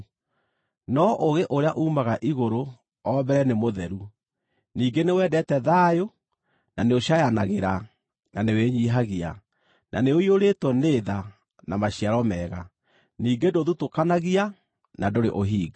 No ũũgĩ ũrĩa uumaga igũrũ o mbere nĩ mũtheru; ningĩ nĩwendete thayũ, na nĩũcaayanagĩra, na nĩwĩnyiihagia, na nĩ ũiyũrĩtwo nĩ tha na maciaro mega, ningĩ ndũthutũkanagia, na ndũrĩ ũhinga.